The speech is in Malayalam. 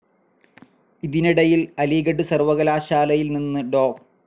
ഇതിനിടയിൽ അലിഗഢ് സർവകലാശാലയിൽ നിന്ന് ഡോ.